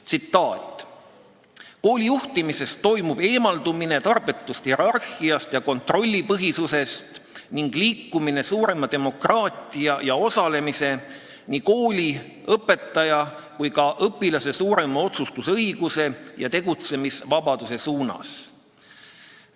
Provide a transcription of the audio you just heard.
Tsitaat: "Koolijuhtimises toimub eemaldumine tarbetust hierarhiast ja kontrollipõhisusest ning liikumine suurema demokraatia ja osalemise, nii kooli, õpetaja kui ka õpilase suurema otsustusõiguse ja tegevusvabaduse suunas.